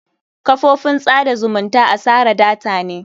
Kafofin tsada zumunta asara data ne.